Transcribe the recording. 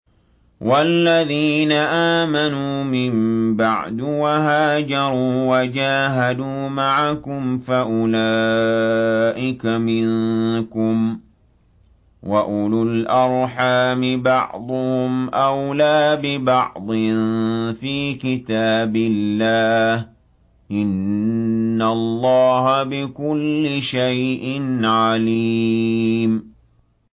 وَالَّذِينَ آمَنُوا مِن بَعْدُ وَهَاجَرُوا وَجَاهَدُوا مَعَكُمْ فَأُولَٰئِكَ مِنكُمْ ۚ وَأُولُو الْأَرْحَامِ بَعْضُهُمْ أَوْلَىٰ بِبَعْضٍ فِي كِتَابِ اللَّهِ ۗ إِنَّ اللَّهَ بِكُلِّ شَيْءٍ عَلِيمٌ